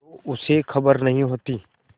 तो उसे खबर नहीं होती